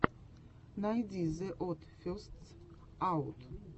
найди зе од фестс аут